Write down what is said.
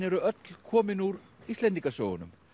eru öll komin úr Íslendingasögunum